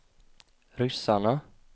ryssarna